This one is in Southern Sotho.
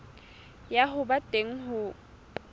ya ho ba teng ho